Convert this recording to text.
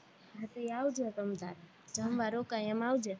હા તે આવજો તમ તારે જમવા રોકાય એમ આવજે